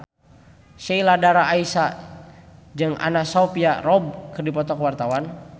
Sheila Dara Aisha jeung Anna Sophia Robb keur dipoto ku wartawan